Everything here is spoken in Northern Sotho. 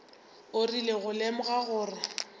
o rile go lemoga gore